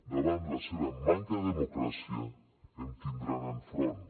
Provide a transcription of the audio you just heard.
davant la seva manca de democràcia em tindran enfront